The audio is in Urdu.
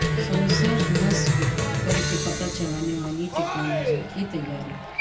سنسرس نصب کرکے پتہ چلانے والی ٹکنالوجی کی تیاری